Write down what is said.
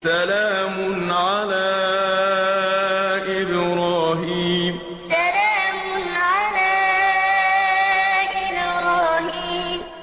سَلَامٌ عَلَىٰ إِبْرَاهِيمَ سَلَامٌ عَلَىٰ إِبْرَاهِيمَ